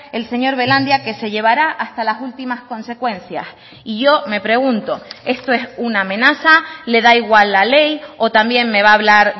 el señor belandia que se llevará hasta las últimas consecuencias y yo me pregunto esto es una amenaza le da igual la ley o también me va a hablar